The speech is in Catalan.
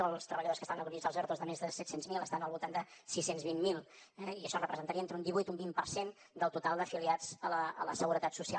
o els treballadors que estaven acollits als ertos de més de set cents miler estan al voltant de sis cents i vint miler eh i això representaria entre un divuit i un vint per cent del total d’afiliats a la seguretat social